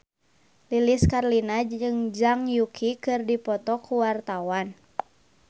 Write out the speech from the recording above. Lilis Karlina jeung Zhang Yuqi keur dipoto ku wartawan